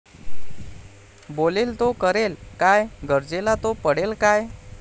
बोलेल तो करेल काय? गरजेला तो पडेल काय?